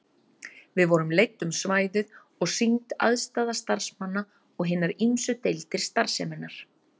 Við vorum leidd um svæðið og sýnd aðstaða starfsmanna og hinar ýmsu deildir starfseminnar.